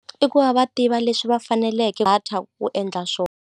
I ku va va tiva leswi va faneleke data ku endla swo.